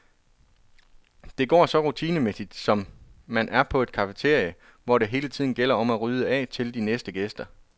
Det går så rutinemæssigt, som om man er på et cafeteria, hvor det hele tiden gælder om at rydde af til de næste gæster.